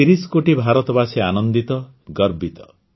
୧୩୦ କୋଟି ଭାରତବାସୀ ଆନନ୍ଦିତ ଗର୍ବିତ